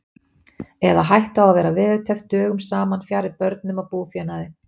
Eða hættu á að vera veðurteppt dögum saman fjarri börnum og búfénaði.